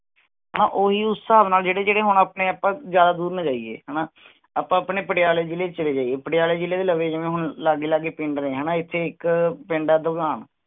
ਹਾਂ ਉਹ ਹੀ ਉਸ ਹਿਸਾਬ ਨਾਲ ਆਪਾਂ ਜਿਹੜੇ ਹੁਣ ਆਪਾ ਜਿਆਦਾ ਦੂਰ ਨਾ ਜਾਈਏ ਹੈਨਾ, ਆਪਾਂ ਆਪਣੇ ਪਟਿਆਲੇ ਜਿਲੇ ਚ ਚਲੇ ਜਾਈਏ। ਪਟਿਆਲੇ ਜਿਲੇ ਚ ਲਵੇ ਲਾਗੇ ਲਾਗੇ ਪਿੰਡ ਨੇ, ਹਣਾ ਇਥੇ ਇਕ ਪਿੰਡ ਹੈ